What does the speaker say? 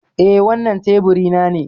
Eh. Wannan teburi na ne.